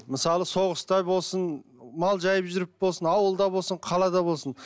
мысалы соғыста болсын мал жайып жүріп болсын ауылда болсын қалада болсын